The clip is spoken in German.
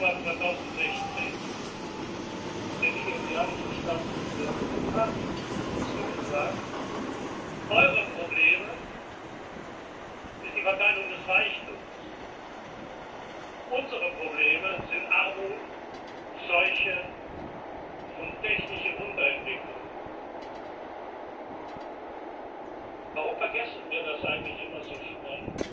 3. Februar 2016 hat der nigerianische Staatspräsidenten Buhari uns hier gesagt Euer Problem ist die Verteilung des Reichtums, unsere Probleme sind Armut, Seuche und technische Unterentwicklung. Warum vergessen wir das eigentlich immer so schnell?